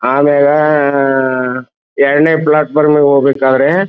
ಆಮೇಲೆ ಎರ್ಡನೆ ಪ್ಲಾಟ್ಪಾರ್ಮ್ ಹೋಗ್ಬೇಕಾದ್ರೆ --